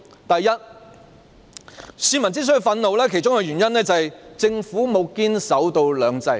首先，市民憤怒的其中一個原因，就是政府沒有堅守"兩制"。